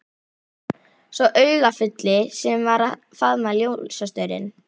Sá augafulli sem var að faðma ljósastaurinn.